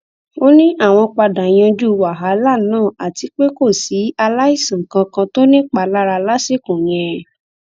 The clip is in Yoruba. ó ní àwọn padà yanjú wàhálà náà àti pé kò sí aláìsàn kankan tó nípalára lásìkò yẹn